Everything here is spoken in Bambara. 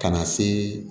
Ka na se